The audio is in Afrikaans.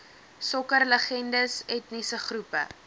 sokkerlegendes etniese groepe